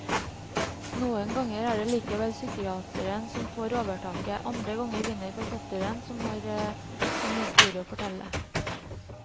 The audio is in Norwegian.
Noen ganger er det likevel psykiateren som får overtaket, andre ganger vinner forfatteren som har en historie å fortelle.